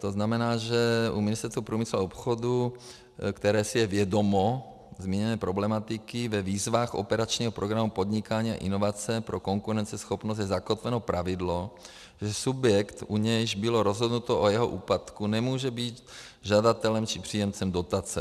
To znamená, že u Ministerstva průmyslu a obchodu, které si je vědomo zmíněné problematiky - ve výzvách operačního programu Podnikání a inovace pro konkurenceschopnost je zakotveno pravidlo, že subjekt, u něhož bylo rozhodnuto o jeho úpadku, nemůže být žadatelem či příjemcem dotace.